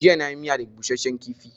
Jiya na yi miya da busashen kifi